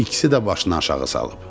İkisi də başını aşağı salıb.